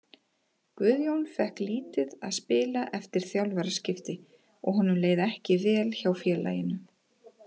Guðjón fékk lítið að spila eftir þjálfaraskipti og honum leið ekki vel hjá félaginu.